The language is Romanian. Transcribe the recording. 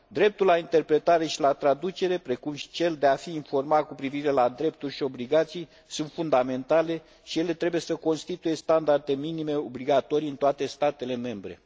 Dreptul la interpretare și la traducere, precum și cel de a fi informat cu privire la drepturi și obligații sunt fundamentale și ele trebuie să constituie standarde minime obligatorii în toate statele membre.